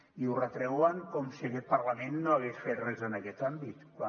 i ho retreuen com si aquest parlament no hagués fet res en aquest àmbit quan